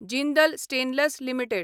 Jindal stainless limited